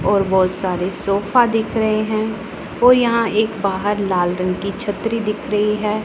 और बहुत सारे सोफा दिख रहे हैं और यहां एक बाहर लाल रंग की छतरी दिख रही है।